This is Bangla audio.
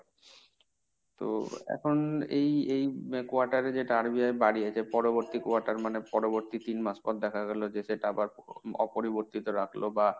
তো এখন এই এই quarter এ যেটা RBI বাড়িয়েছে, পরবর্তী quarter মানে পরবর্তী তিন মাস পর দেখা গেল যে সেটা আবার অপরিবর্তিত রাখল বা,